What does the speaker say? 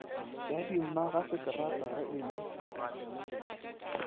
ya dimmagaseterata ge e le